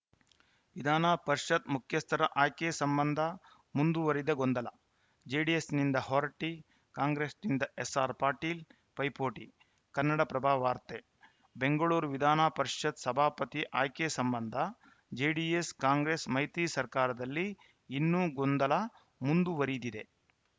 ವಿಧಾನ ಪರಿಷತ್‌ ಮುಖ್ಯಸ್ಥರ ಆಯ್ಕೆ ಸಂಬಂಧ ಮುಂದುವರಿದ ಗೊಂದಲ ಜೆಡಿಎಸ್‌ನಿಂದ ಹೊರಟ್ಟಿ ಕಾಂಗ್ರೆಸ್‌ನಿಂದ ಎಸ್ಸಾರ್‌ ಪಾಟೀಲ್‌ ಪೈಪೋಟಿ ಕನ್ನಡಪ್ರಭ ವಾರ್ತೆ ಬೆಂಗಳೂರು ವಿಧಾನ ಪರಿಷತ್‌ ಸಭಾಪತಿ ಆಯ್ಕೆ ಸಂಬಂಧ ಜೆಡಿಎಸ್‌ಕಾಂಗ್ರೆಸ್‌ ಮೈತ್ರಿ ಸರ್ಕಾರದಲ್ಲಿ ಇನ್ನೂ ಗೊಂದಲ ಮುಂದುವರಿದಿದೆ